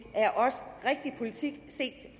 politik set